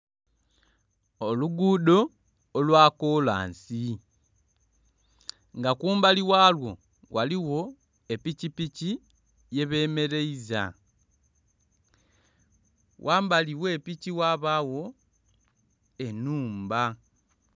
Oluguudo olwa kolansi nga kumbali ghalwo ghaligho epikipiki yebemeleiza. Ghambali gh'epiki ghabagho ennhumba.